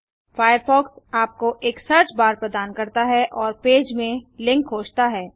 Firefox आपको एक search bar प्रदान करता है और पेज में लिंक खोजता है